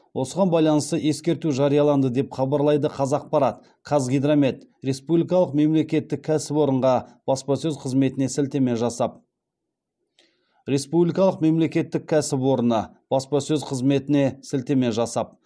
осыған байланысты ескерту жарияланды деп хабарлайды қазақпарат қазгидромет республикалық мемлекеттік кәсіпорыны баспасөз қызметіне сілтеме жасап